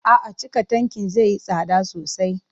A'a, cika tankin zai yi tsada sosai.